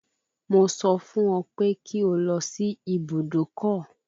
Mo sọ fún ọ pé kí ó lọ sí ibùdókọ̀